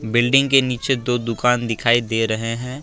Building के नीचे दो दुकान दिखाई दे रहे हैं।